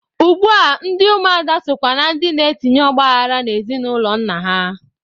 Ugbua ndị ụmụada sokwa na ndị na-etinye ọgbaghara n'ezinụlọ nna ha.